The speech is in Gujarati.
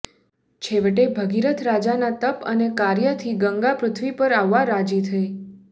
છેવટે ભગીરથ રાજાના તપ અને કાર્યથી ગંગા પૃથ્વી પર આવવા રાજી થઇ